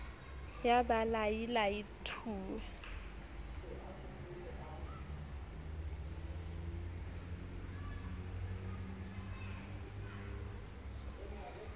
ya ba lai lai thu